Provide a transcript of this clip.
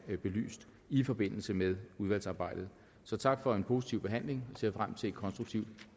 belyst i forbindelse med udvalgsarbejdet så tak for en positiv behandling ser frem til et konstruktivt